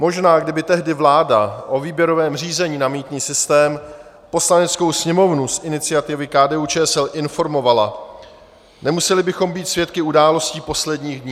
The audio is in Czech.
Možná kdyby tehdy vláda o výběrovém řízení na mýtný systém Poslaneckou sněmovnu z iniciativy KDU-ČSL informovala, nemuseli bychom být svědky událostí posledních dní.